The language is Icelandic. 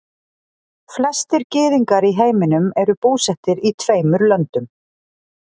flestir gyðingar í heiminum eru búsettir í tveimur löndum